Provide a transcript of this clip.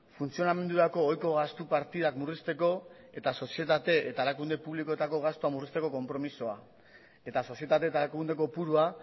funtzionamendurako ohiko gastu partidak murrizteko eta sozietate eta erakunde publikoetako gastua murrizteko konpromezua eta sozietate eta erakunde kopurua